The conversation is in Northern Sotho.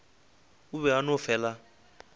o be a no fela